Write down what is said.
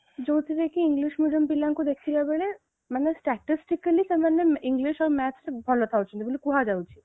ଯାଉଥିରେ କି English medium ପିଲାଙ୍କୁ ଦେଖିବାକୁ ଗଲେ ମାନେ statistically ସେମାନେ English ଆଉ math ରେ ଭଲ ରହୁଛନ୍ତି ବୋଲି କୁହାଯାଉଛି